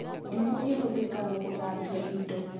Ndimũ ĩhũthĩkaga gũthambia indo